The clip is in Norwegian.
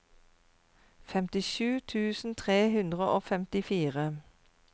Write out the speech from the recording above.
femtisju tusen tre hundre og femtifire